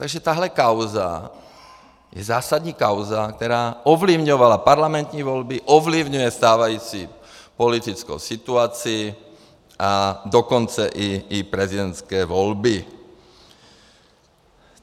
Takže tahle kauza je zásadní kauza, která ovlivňovala parlamentní volby, ovlivňuje stávající politickou situaci, a dokonce i prezidentské volby.